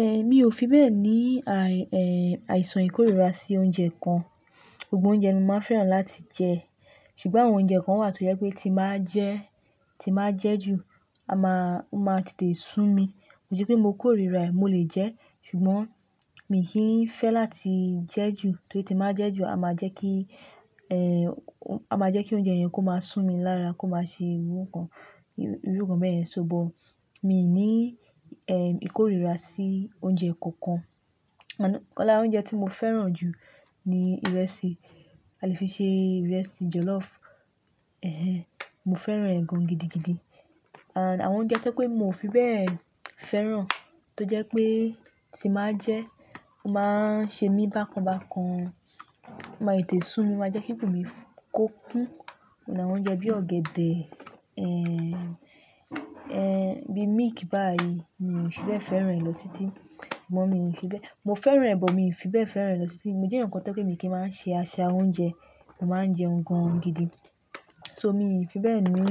Ehn, mi ò fi bẹ́ẹ̀ní àìsàn ìkórìíra sí oúnjẹ kan. Gbogbo oúnjẹ ni mo máa fẹ́ràn láti jẹ. Ṣùgbọ́n àwọn oúnjẹ kan wà tó yẹ́ pé tí ba jẹ́, tí ba jẹ́ jù, a máa, ó máa tètè sú mi. Ki se pe mo korira, mo le je. Ṣùgbọ́n mi kì í fẹ́ láti jẹ́ jù torí tí máa jẹ́ jù, a máa jẹ́ kí, a máa jẹ́ kí oúnjẹ yẹn kó máa sú mi lára, kó máa ṣe irú kan, irú nkan beyen. So but mi ò ní, ìkórìíra sí oúnjẹ kankan. Ọ̀la oúnjẹ tí mo fẹ́ràn jù ni ìrẹsì. A lè fi ṣe ìrẹsì jọlọ́ọ̀fù. Ehhen, mo fẹ́ràn ẹ̀ gan-an gidigidi. And àwọn oúnjẹ tó pé mo fi bẹ́ẹ̀ fẹ́ràn tó jẹ́ pé tí máa jẹ ẹ́, ó máa ń ṣe mí bákan bákan. O ma tete su mi o maa je ki ikun mi ko kun. Ó ní àwọn oúnjẹ bí i ọ̀gẹ̀dẹ̀, bí i milk báyìí, mi ò fi bẹ́ẹ̀ fẹ́ràn rẹ̀ lọ títí. Ìbọn mi ò fi bẹ́ẹ̀. Mo fẹ́ràn ẹ́, but mi ò fi bẹ́ẹ̀ fẹ́ràn rẹ̀ lọ títí. Mo jẹ́ ǹkan tó pé mi kì í máa ń ṣe aṣẹ oúnjẹ, mo máa ń jẹun gan-an gidi. So mi fi be ni